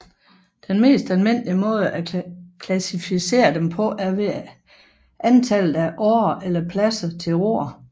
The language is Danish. Den mest almindelige måde at klassificere dem på er ved antallet af årer eller pladser til roere